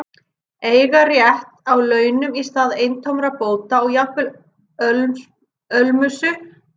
Eiga rétt á launum í stað eintómra bóta og jafnvel ölmusu fyrri tíma.